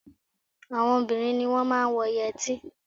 Àwọn obìnrin ni wọ́n máa ń wọ yẹtí